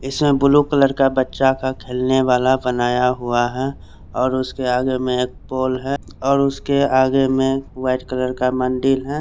इसमें blue colour का बच्चा का खेलने वाला बनाया हुआ है और उसके आगे में एक पोल है और उसके आगे में वाइट कलर का मंदिर है।